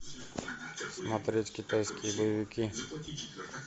смотреть китайские боевики